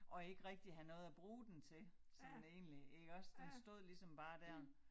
Og ikke rigtig have noget at bruge den til sådan egentlig iggås den stod ligesom bare dér